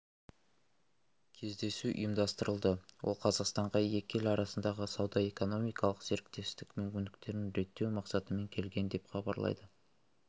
кездесу ұйымдастырылды ол қазақстанға екі ел арасындағы сауда-экономикалық серіктестік мүмкіндіктерін реттеу мақсатымен келген деп хабарлайды